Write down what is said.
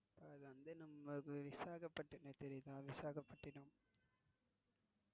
உங்களுக்கு விசாகப்பட்டினம் தெரியுமா? விசாகப்பட்டினம்.